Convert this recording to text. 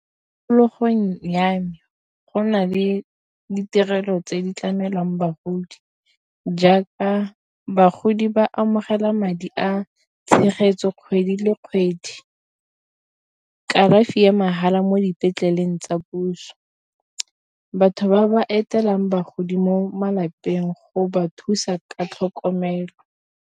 Tikologong ya me go na le ditirelo tse di tlamelwang bagodi, jaaka bagodi ba amogela madi a tshegetso kgwedi le kgwedi. Kalafi ya mahala mo dipetleleng tsa puso batho ba ba etelelang bagodi mo malapeng go ba thusa ka tlhokomelo.